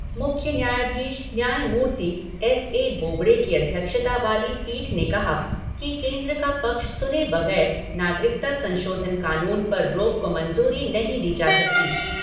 मुख्य न्यायधीश न्यायमूर्ति एस ए बोबड़े की अध्यक्षता वाली पीठ ने कहा कि केन्द्र का पक्ष सुने बगैर नागरिकता संशोधन कानून पर रोक को मंजूरी नहीं दी जा सकती।